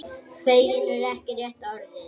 Feginn er ekki rétta orðið.